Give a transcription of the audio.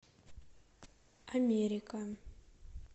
америка